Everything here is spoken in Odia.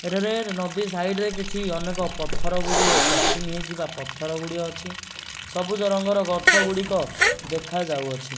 ଏଠାରେ ନଦୀ ସାଇଡ୍ ରେ କିଛି ଅନେକ ପଥର ଗୁଡିଏ ପ୍ୟାଚିଂ ହେଇଚି ବା ପଥର ଗୁଡିଏ ଅଛି ସବୁଜ ରଙ୍ଗର ଗଛ ଗୁଡିକ ଦେଖାଯାଉଅଛି।